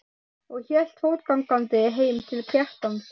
og hélt fótgangandi heim til Kjartans.